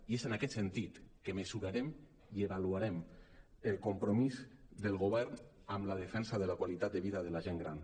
i és en aquest sentit que mesurarem i avaluarem el compromís del govern en la defensa de la qualitat de vida de la gent gran